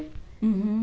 Uhum.